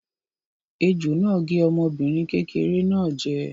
Ejò náà gé ọmọbìnrin kékeré náà jẹ.